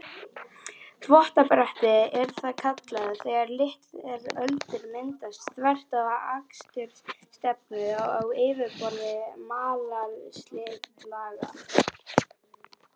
Þvottabretti er það kallað, þegar litlar öldur myndast þvert á akstursstefnu á yfirborði malarslitlaga.